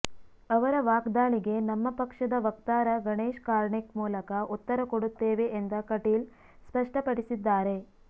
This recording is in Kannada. ಅವರ ವಾಗ್ದಾಳಿಗೆ ನಮ್ಮ ಪಕ್ಷದ ವಕ್ತಾರ ಗಣೇಶ್ ಕಾರ್ಣಿಕ್ ಮೂಲಕ ಉತ್ತರ ಕೊಡುತ್ತೇವೆ ಎಂದ ಕಟೀಲ್ ಸ್ಪಷ್ಟಪಡಿಸಿದ್ದಾರೆ